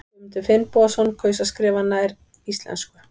Guðmundur Finnbogason kaus að skrifa nær íslensku.